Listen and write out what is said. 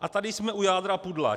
A tady jsme u jádra pudla.